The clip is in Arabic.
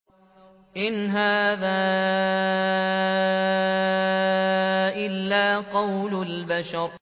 إِنْ هَٰذَا إِلَّا قَوْلُ الْبَشَرِ